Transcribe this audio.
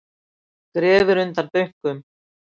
Grefur undan bönkum